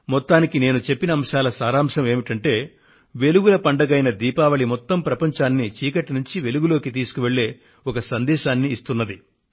మొత్తానికి నేను చెప్పిన అంశాల సారాంశం ఏమంటే వెలుగుల పండగైన దీపావళి మొత్తం ప్రపంచాన్ని చీకటి నుండి వెలుగులోకి తీసుకువెళ్లే ఒక సందేశాన్ని ఇస్తున్నది